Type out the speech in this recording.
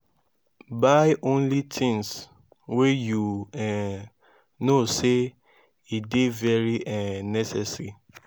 buy only tins wey yu um no sey e dey very um necessary